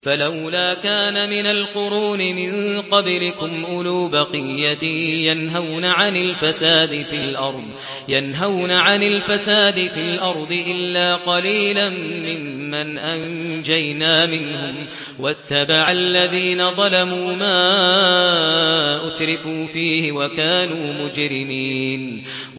فَلَوْلَا كَانَ مِنَ الْقُرُونِ مِن قَبْلِكُمْ أُولُو بَقِيَّةٍ يَنْهَوْنَ عَنِ الْفَسَادِ فِي الْأَرْضِ إِلَّا قَلِيلًا مِّمَّنْ أَنجَيْنَا مِنْهُمْ ۗ وَاتَّبَعَ الَّذِينَ ظَلَمُوا مَا أُتْرِفُوا فِيهِ وَكَانُوا مُجْرِمِينَ